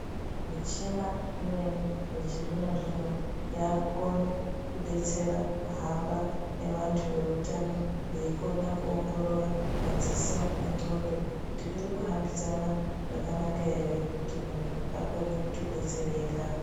Michina imweni yechizvino-zvino, yakukone kubetsera kuhamba nevantu veutano veikona kuongorora madziso nendxondo. Kuti zviri kuhambidzana zvakanaka ere kuti muntu akone kutobetsereka.